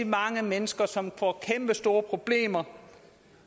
mange mennesker som får kæmpestore problemer